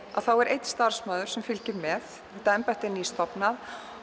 er einn starfsmaður sem fylgir með þetta embætti er nýstofnað